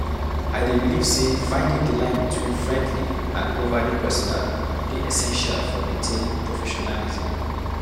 I dey believe say finding the line between friendly and overly personal dey essential for maintaining professionalism.